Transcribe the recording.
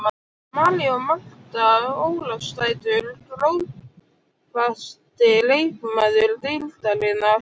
María og Marta Ólafsdætur Grófasti leikmaður deildarinnar?